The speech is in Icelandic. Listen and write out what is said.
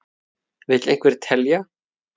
Vill einhver telja?